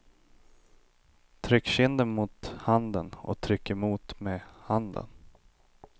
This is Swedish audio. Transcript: Tryck kinden mot handen och tryck emot med handen.